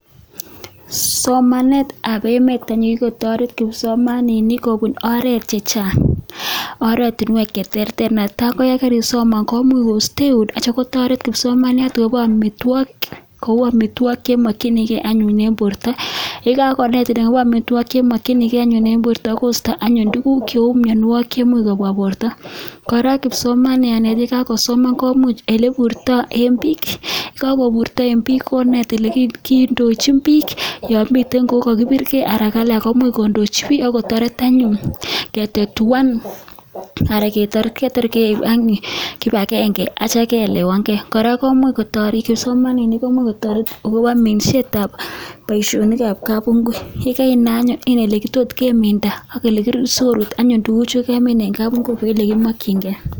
Somanet ab emeet anyun kokikotoret kipsomaninik kobun oreet chechang',oratunuek cheterter ,netai ko yan karisoman komuch kosteun ak kotya kotoret kipsomaniat koborun omitwogik, koboru amitwogik chemokyinigen anyun en borto, yekagonetin akobo amitwogik chemokyinigen en borto kosto anyun tuguk cheu mionwogik cheimuch kobwa boro, kora kipsomaniani yekakosoman komuch eleburto en biik, yekakoburto en biik koneet olekindochin biik yon miten kou yekokibirge anan kondochi biik ak kotoret anyun ketatuan anan ketar kotor keiib kipagenge ak kitya kehelewangee, kora komuch kotoret kipsomaninik komuch kotoret akobo minseet ab boisionik ab kabungui, ye karinai anyun inai oletot keminda sikorut anyun tuguchu kemin en kabungui kou olekimongyingee.